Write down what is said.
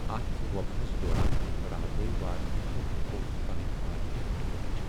اتھ وباہس دوران راورٲوۍ وارِیاہو لوكو پنٕنۍ وارِیاہ ٹٲٹھۍ ۔